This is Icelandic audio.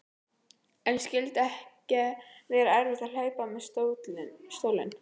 En skyldi ekki vera erfitt að hlaupa með stólinn?